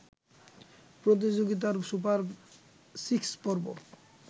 প্রতিযোগিতার super six পর্ব